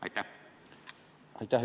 Aitäh!